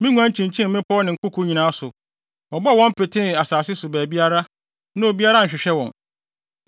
Me nguan kyinkyin mmepɔw ne nkoko nyinaa so. Wɔbɔɔ wɔn petee asase so baabiara, na obiara anhwehwɛ wɔn.